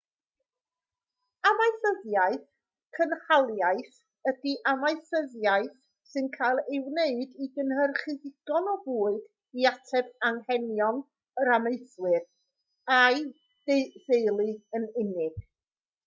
amaethyddiaeth cynhaliaeth ydi amaethyddiaeth sy'n cael ei wneud i gynhyrchu digon o fwyd i ateb anghenion yr amaethwr a'i d/theulu yn unig